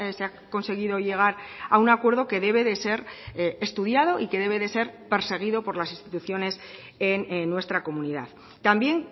se ha conseguido llegar a un acuerdo que debe de ser estudiado y que debe de ser perseguido por las instituciones en nuestra comunidad también